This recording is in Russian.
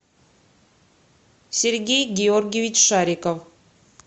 сергей георгиевич шариков